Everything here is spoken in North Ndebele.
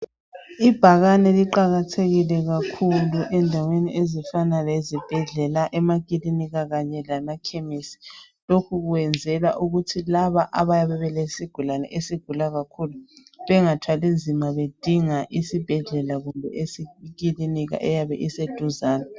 Ibhakane liqakathekile kakhulu endaweni ezifana lezibhedlela emakilinika kanye lemakhemisi. Lokhu kuyenzelwa ukuthi laba abayabe belesigulane esigula kakhulu bengathwali nzima bedinga isibhedlela kumbe ikilinika eyabe iseduzane.